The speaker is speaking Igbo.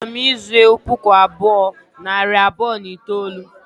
A chọrọ m ịzụ ewu puku abụọ, nari abụọ na itoolu